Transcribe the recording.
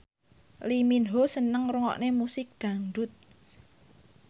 Lee Min Ho seneng ngrungokne musik dangdut